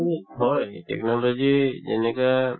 উম, হয় technology যেনেকা